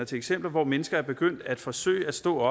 til eksempler hvor mennesker er begyndt at forsøge at stå